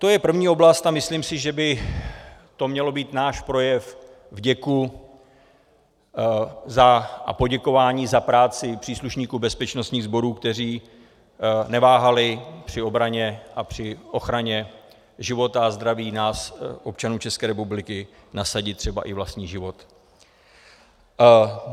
To je první oblast a myslím si, že by to měl být náš projev vděku a poděkování za práci příslušníkům bezpečnostních sborů, kteří neváhali při obraně a při ochraně života a zdraví nás občanů České republiky nasadit třeba i vlastní život.